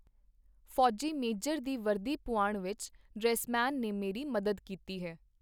ਫੌਜੀ ਮੇਜਰ ਦੀ ਵਰਦੀ ਪੁਆਣ ਵਿਚ ਡਰੈਸ-ਮੈਨ ਨੇ ਮੇਰੀ ਮਦਦ ਕੀਤੀ ਹੈ.